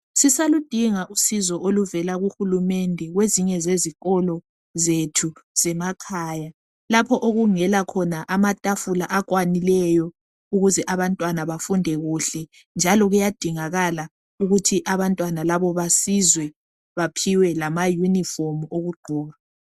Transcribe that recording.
sisaludinga usizo oluvela ku hulumende kwezinye zezikolo zethu zemakhaya lapho okungela khona amatafuna akwanileyo ukuze abantwana bafunde kuhle njalo kuyadingakala ukuthi abantwana labo basizwe baphiwe lama uniform okugqoka